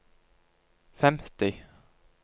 femti